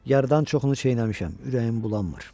Yarıdan çoxunu çeynəmişəm, ürəyim bulanmır.